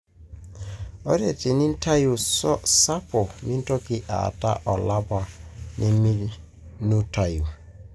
Ore tenitayuni sapo, mintoki ataa olapa neminutayu.